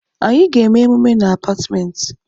Anyị ga-eme emume na Apartmentị